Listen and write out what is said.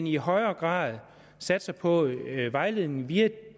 i højere grad satser på vejledning via